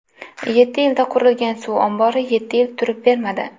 Yetti yilda qurilgan suv ombori yetti yil turib bermadi.